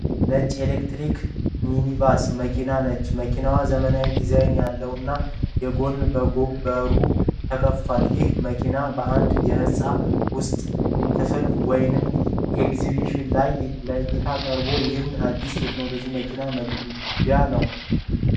ነጭ ኤሌክትሪክ ሚኒቫስ መኪና ነች። መኪናው ዘመናዊ ዲዛይን ያለውና የጎን በሩ ተከፍቷል። ይህ መኪና በአንድ የህንፃ ውስጥ ክፍል ወይም ኤግዚቢሽን ላይ ለእይታ ቀርቧል ። ይህ የአዲስ ቴክኖሎጂ መኪና መግቢያ ነው።